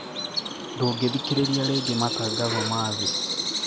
ndũngĩthikĩrĩria rĩngĩ matangatho mathi